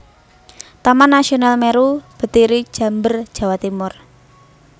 Taman Nasional Meru Betiri Jember Jawa Timur